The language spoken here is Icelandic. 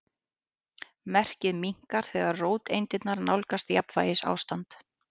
Merkið minnkar þegar róteindirnar nálgast jafnvægisástand.